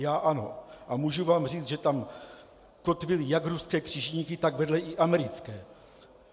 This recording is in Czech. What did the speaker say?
Já ano a můžu vám říct, že tam kotvily jak ruské křižníky, tak vedle i americké.